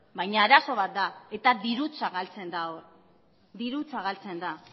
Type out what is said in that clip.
baina arazo bat da eta dirutza galtzen da hor dirutza galtzen da